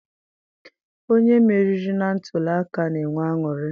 Onye meriri na ntuliaka na-enwe aṅụrị.